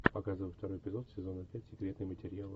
показывай второй эпизод сезона пять секретные материалы